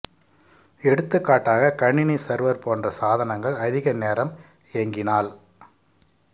எடுத்துக்காட்டாக கணினி சர்வர் போன்ற சாதனங்கள் அதிக நேரம் இயங்கினால்